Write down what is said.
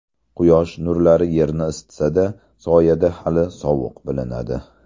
Quyosh nurlari yerni isitsada, soyada hali sovuq bilinadi.